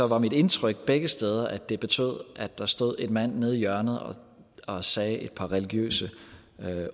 var mit indtryk begge steder at det betød at der stod en mand nede i hjørnet og sagde et par religiøse